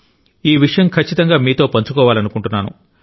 ఈ విషయం ఖచ్చితంగా మీతో పంచుకోవాలనుకుంటున్నాను